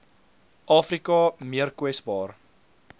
afrika meer kwesbaar